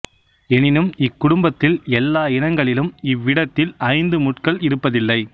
எனினும் இக்குடும்பத்தில் எல்லா இனங்களிலும் இவ்விடத்தில் ஐந்து முட்கள் இருப்பதில்லை